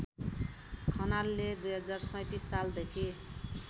खनालले २०३७ सालदेखि